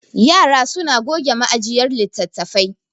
yara suna goge ma'jiyar litattafai